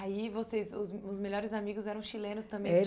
Aí vocês, os os melhores amigos eram chilenos também?